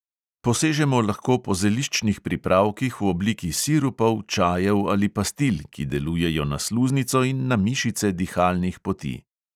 Posežemo lahko po zeliščnih pripravkih v obliki sirupov, čajev ali pastil, ki delujejo na sluznico in na mišice dihalnih poti.